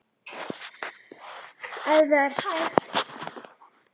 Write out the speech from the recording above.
Ef það er hægt?